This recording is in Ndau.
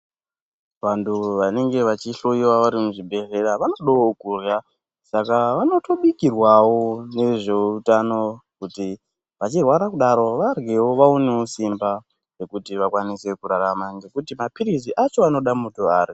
Vantu vanenge vachihloiwa vari muzvibhedhlera vanodawo kurya Saka vanotobikirwawo nezveutano kuti vachirwara kudaro varyewo vaonewo simba rekuti vakwanise kurarama ngekuti maphirizi acho anoda muntu arya.